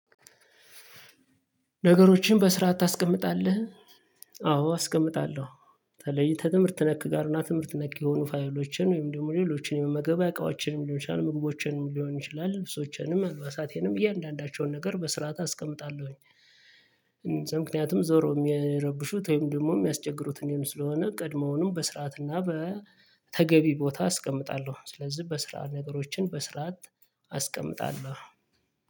ነገሮችን በስራ አታስቀምጣለህ? አዎ አስቀምጣለሁ። በተለይ ከትምህርት ነክ ጋር እና ትምህርት ነክ የሆኑ ፋይሎችን ወይም ደግሞ ሌሎችን የመመገቢያ እቃወችን ሊሆን ይችላል ምግቦችንም ሊሆን ይችላል ልብሶችንም አልባሳቴንም እያንዳንዳቸውን ነገር በስርዓት አስቀምጣለሁኝ። ምክንያቱም ዞሮ የሚረብሹት ወይም ደግሞ የሚያስቸግሩት እኔን ስለሆነ ቀድሞውንም በስርዓትና በተገቢ ቦታ አስቀምጣለሁ። ስለዚህ በስራአት ነገሮችን በስርዓት አስቀምጣለሁ።